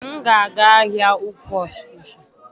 Èé, m ga-aga ahịa ukwuu Onitsha.